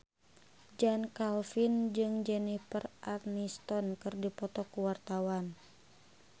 Chand Kelvin jeung Jennifer Aniston keur dipoto ku wartawan